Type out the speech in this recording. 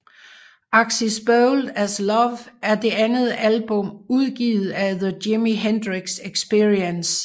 Axis Bold as Love er det andet album udgivet af The Jimi Hendrix Experience